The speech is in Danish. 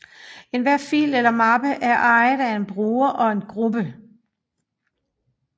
Enhver fil eller mappe er ejet af en bruger og en gruppe